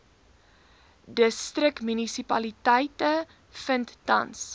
distriksmunisipaliteite vind tans